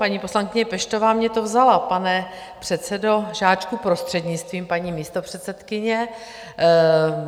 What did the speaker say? Paní poslankyně Peštová mně to vzala, pane předsedo Žáčku, prostřednictvím paní místopředsedkyně.